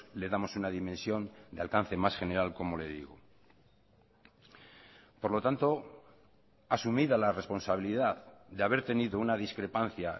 le damos una dimensión de alcance más general como le digo por lo tanto asumida la responsabilidad de haber tenido una discrepancia